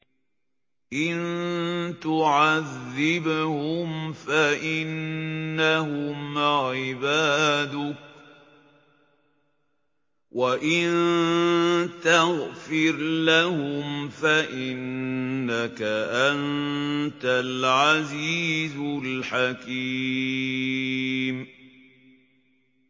إِن تُعَذِّبْهُمْ فَإِنَّهُمْ عِبَادُكَ ۖ وَإِن تَغْفِرْ لَهُمْ فَإِنَّكَ أَنتَ الْعَزِيزُ الْحَكِيمُ